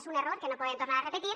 és un error que no podem tornar a repetir